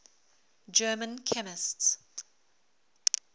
german chemists